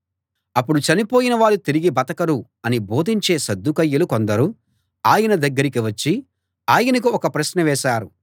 అప్పుడు చనిపోయిన వారు తిరిగి బతకరు అని బోధించే సద్దూకయ్యులు కొందరు ఆయన దగ్గరికి వచ్చి ఆయనకు ఒక ప్రశ్న వేశారు